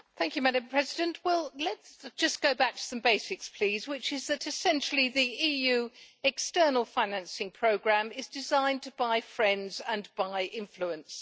Madam President, let's just go back to some basics, please, which is that essentially the EU external financing programme is designed to buy friends and buy influence.